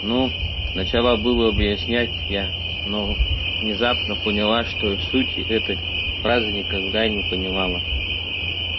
ну начала было объяснять я но внезапно поняла что сути этой фразы никогда не понимала